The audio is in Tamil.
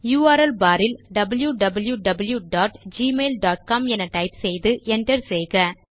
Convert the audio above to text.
யுஆர்எல் பார் இல் wwwgmailcom என டைப் செய்து Enter செய்க